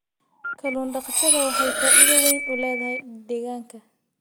Kallun daqashada waxay faa'iido weyn u leedahay deegaanka.